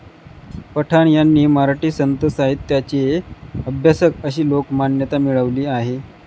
पठाण यांनी मराठी संतसाहित्याचे अभ्यासक अशी लोकमान्यता मिळवली आहे.